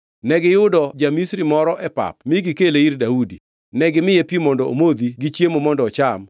Negiyudo ja-Misri moro e pap mi gikele ir Daudi. Negimiye pi mondo omodhi gi chiemo mondo ocham